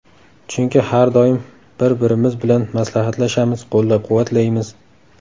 Chunki har doim bir-birimiz bilan maslahatlashamiz, qo‘llab-quvvatlaymiz.